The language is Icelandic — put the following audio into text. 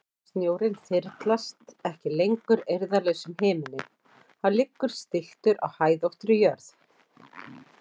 Snjórinn þyrlast ekki lengur eirðarlaus um himininn, hann liggur stilltur á hæðóttri jörð.